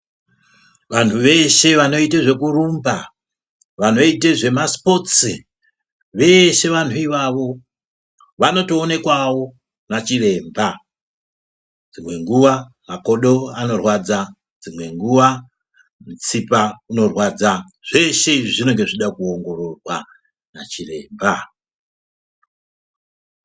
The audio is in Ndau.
Vanhu veshe vanoite zvekurumba, vanoite zvemasipotsi vese vantu ivavo vanotoonekwawo nachiremba dzimwe nguwa makodo anorwadza, dzimwe nguwa mutsipa inorwadza zveshe izvi zvinonga zveida kuongororwa nachiremba.